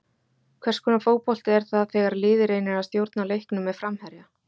Hvers konar fótbolti er það þegar liðið reynir að stjórna leiknum með framherja?